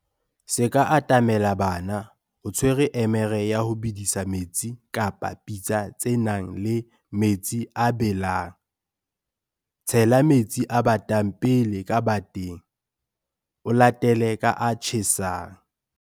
Se ka atamela bana o tshwere emere ya ho bedisa metsi kapa pitsa tse nang le metsi a a belang. Tshela metsi a batang pele ka bateng, o latele ka a tjhesang.